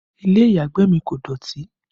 Ilé ìyàgbẹ̀ mi kò dọ̀tí